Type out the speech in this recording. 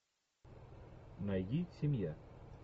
найди семья